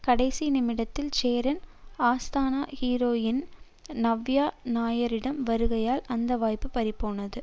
கடைசி நிமிடத்தில் சேரனின் ஆஸ்தான ஹீரோயின் நவ்யா நாயரின் வருகையால் அந்த வாய்ப்பு பறிபோனது